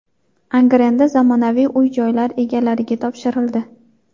Angrenda zamonaviy uy-joylar egalariga topshirildi.